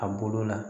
A bolo la